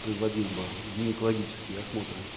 производил бы гинекологический осмотры